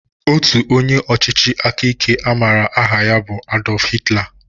Otu onye ọchịchị aka ike a maara aha ya bụ Adolf Hitler